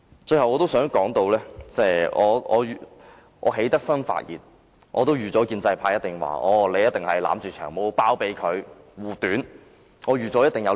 最後，我想說句，既然我決定發言，我早已預料建制派議員會批評我維護、包庇"長毛"，這是我意料之內的。